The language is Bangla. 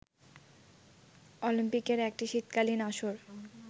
অলিম্পিকের একটি শীতকালীন আসর